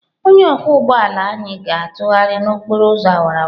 Onye ọkwọ ụgbọ ala anyị ga-atụgharị n'okporo ụzọ awara awara.